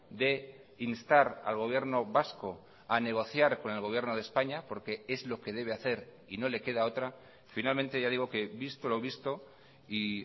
de instar al gobierno vasco a negociar con el gobierno de españa porque es lo que debe hacer y no le queda otra finalmente ya digo que visto lo visto y